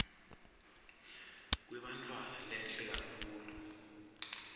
kwebantfwana lehle kakhulu